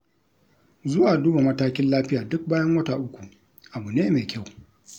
Zuwa duba matakin lafiya duk bayan wata uku, abu ne mai kyau.